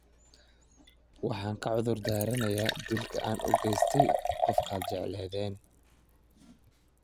Waxaan ka cudur daaranayaa dilka an ugestay qofkad jecleden.